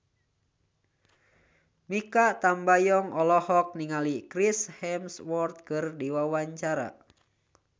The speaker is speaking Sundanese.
Mikha Tambayong olohok ningali Chris Hemsworth keur diwawancara